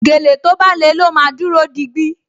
Gèlè tó bá le ló máa dúró digbí